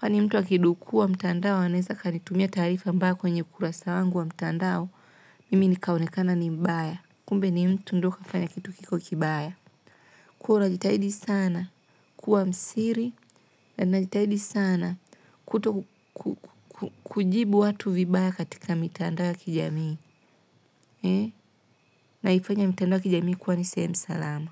Kwani mtu akidukua mtandao, anaweza akanitumia taarifa mbaya kwenye ukurasa wangu wa mtandao, mimi nikaonekana ni mbaya. Kumbe ni mtu ndo kafanya kitu kiko kibaya. Kuwa unjitahidi sana. Kuwa msiri. Na najitahidi sana kuto ku kujibu watu vibaya katika mitandao kijamii. Naifanya mitandao ya kijamii kuwa ni sehemu salama.